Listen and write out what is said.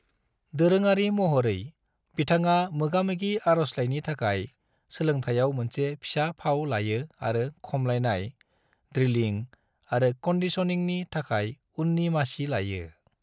दोरोङारि महरै, बिथाङा मोगामोगि आर'जलाइनि थाखाय सोलोंथाइयाव मोनसे फिसा फाव लायो आरो खमलायनाय, ड्रिलिंग आरो कंडीशनिंगनि थाखाय उननि मासि लायो।